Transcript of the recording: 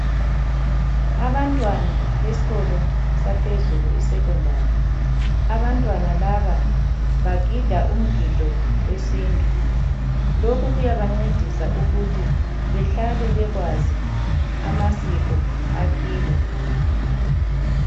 Abantwana besikolo saphezulu iSecondary ,abantwana laba bagida umgido wesintu lokhu kuyabancedisa ukuthi behlale bekwazi amasiko akibo.